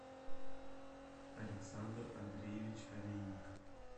александр андреевич олейник